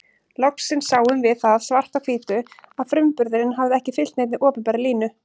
Loksins sáum við það svart á hvítu að frumburðurinn hafði ekki fylgt neinni opinberri línu.